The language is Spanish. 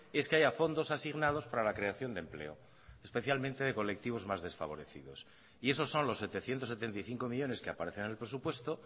es que haya fondos asignados para la creación de empleo especialmente de colectivos más desfavorecidos y esos son los setecientos setenta y cinco millónes que aparecen en el presupuesto